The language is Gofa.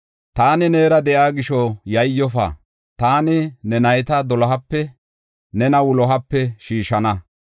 Taani neera de7iya gisho yayyofa; taani ne nayta dolohape nena wulohape shiishana.